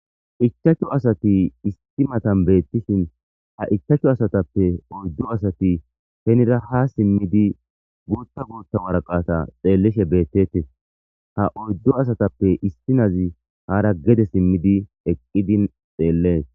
ichachcho asati isti matan beettishin ha ichachchu asatappe oyddu asati henira ha simmidi guutta guutta waraqata xeellishe beettete ha oyddu asatappe istinazi haara gede simmidi eqqidin xeellee